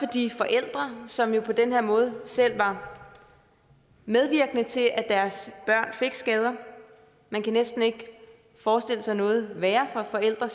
de forældre som jo på den her måde selv var medvirkende til at deres børn fik skader man kan næsten ikke forestille sig noget værre for forældre